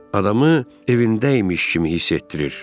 Adamı evində imiş kimi hiss etdirir.